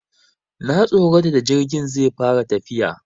Na tsorata da jirgin zai fara tafiya.